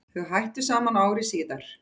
Þau hættu saman ári síðar.